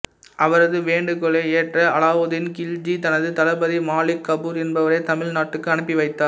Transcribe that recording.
அவரது வேண்டுகோளை ஏற்ற அலாவுதீன் கில்ஜி தனது தளபதி மாலிக் கபூர் என்பவரை தமிழ் நாட்டுக்கு அனுப்பி வைத்தார்